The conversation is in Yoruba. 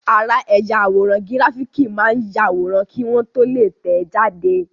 Ara ẹ̀yà àwòrán gíráfìkì máa ń yàwòrán kí wọ́n tó lè tẹ̀ẹ́ jáde